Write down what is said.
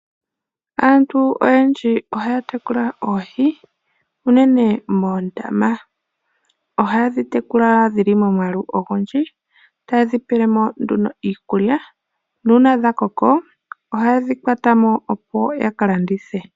Aantu oyendji ohaya tekula oohi unene moondama . Ohayedhi tekula dhili momwaalu ogundji tayedhi pelemo nduno iikulya nuuna dha koko ohayedhi kwatamo opo ya kalandithe.